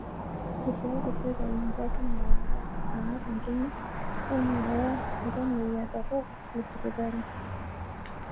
Eishooki serkali ngarinn naar enkima o naaya iltamoyia torok le sipitali.